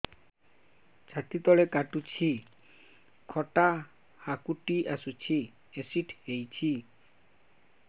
ଛାତି ତଳେ କାଟୁଚି ଖଟା ହାକୁଟି ଆସୁଚି ଏସିଡିଟି ହେଇଚି